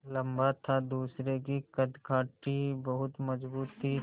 लम्बा था दूसरे की कदकाठी बहुत मज़बूत थी